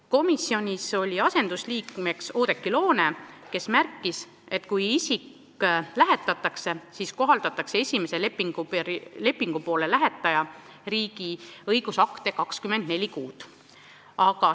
Komisjoni istungil osales asendusliikmena Oudekki Loone, kes märkis, et kui isik lähetatakse välismaale, siis kohaldatakse lähetajariigi õigusakte 24 kuud.